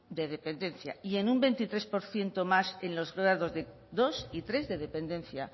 de dependencia y en un veintitrés por ciento más en los grados dos y tres de dependencia